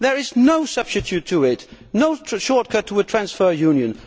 There is no substitute for it and no short cut to a transfer union.